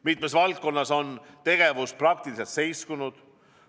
Mitmes valdkonnas on tegevus praktiliselt seiskunud.